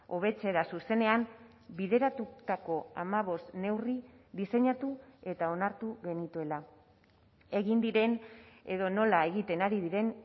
hobetzera zuzenean bideratutako hamabost neurri diseinatu eta onartu genituela egin diren edo nola egiten ari diren